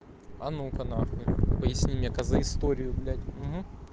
а ну-ка на хуй поясни мне коза историю блядь